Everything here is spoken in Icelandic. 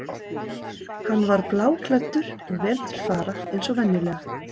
Hann var bláklæddur og vel til fara eins og venjulega.